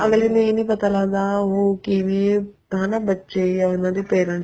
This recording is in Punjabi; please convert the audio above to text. ਅੱਗਲੇ ਨੂੰ ਇਹ ਨਹੀਂ ਪਤਾ ਲੱਗਦਾ ਉਹ ਕਿਵੇਂ ਹੈਨਾ ਬੱਚੇ ਹੈ ਉਹਨਾ ਦੇ parents